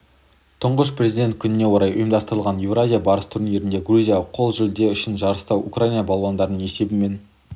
тұңғыш президент күніне орай ұйымдастырылған еуразия барысы турнирінде грузия қол жүлде үшін жарыста украина балуандарын есебімен